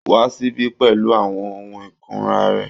Wá síbí pẹ̀lú àwọn ohun ìkunra rẹ